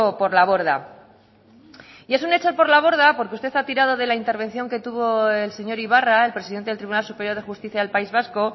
por la borda y es un echar por la borda porque usted ha tirado de la intervención que tuvo el señor ibarra el presidente del tribunal superior de justicia del país vasco